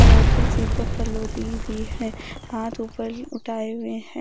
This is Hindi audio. और औरतें सिर पर पल्लू ली हुई है हाथ ऊपर उठाए हुए हैं।